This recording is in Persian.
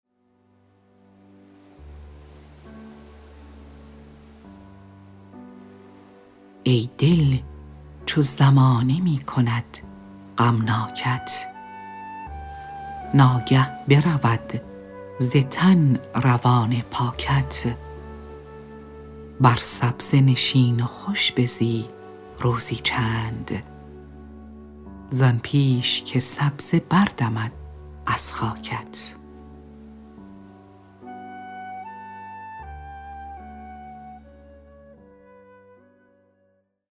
ای دل چو زمانه می کند غمناکت ناگه برود ز تن روان پاکت بر سبزه نشین و خوش بزی روزی چند زآن پیش که سبزه بردمد از خاکت